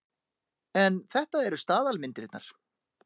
En þetta eru staðalmyndirnar.